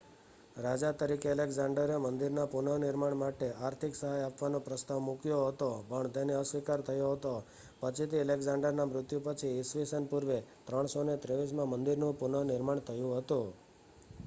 રાજા તરીકે એલેક્ઝાંડરે મંદિરના પુનર્નિર્માણ માટે આર્થિક સહાય આપવાનો પ્રસ્તાવ મૂક્યો હતો પણ તેનો અસ્વીકાર થયો હતો પછીથી એલેક્ઝાંડરના મૃત્યુ પછી ઈસ્વી સન પૂર્વે 323માં મંદિરનું પુનર્નિર્માણ થયું હતું